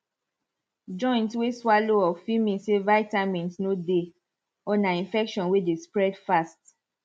joint way swallow up fit mean say vitamins no dey or na infection way dey spread fast